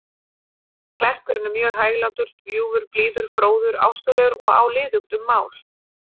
Klerkurinn er mjög hæglátur, ljúfur, blíður, fróður, ástúðlegur og á liðugt um mál.